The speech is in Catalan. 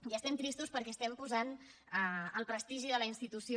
i estem tristos perquè estem posant el prestigi de la institució